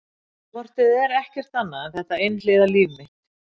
Ég hef hvort eð er ekkert annað en þetta einhliða líf mitt.